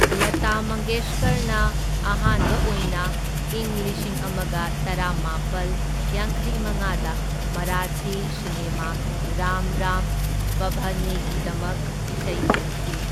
ꯂꯇꯥ ꯃꯪꯒꯦꯁꯀꯔꯅ ꯑꯍꯥꯟꯕ ꯑꯣꯏꯅ ꯏꯪ ꯂꯤꯁꯤꯡ ꯑꯃꯒ ꯇꯔꯥꯃꯥꯄꯜ ꯌꯥꯡꯈꯩꯃꯉꯥꯗ ꯃꯔꯥꯊꯤ ꯁꯤꯅꯦꯃꯥ ꯔꯥꯝ ꯔꯥꯝ ꯄꯥꯚꯥꯅꯦꯒꯤꯗꯃꯛ ꯏꯁꯩ ꯂꯦꯡꯈꯤ꯫